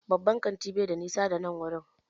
Babban kantin bai da nisa da nan wurin